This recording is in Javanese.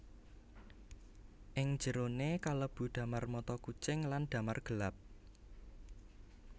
Ing jeroné kalebu damar mata kucing lan damar gelap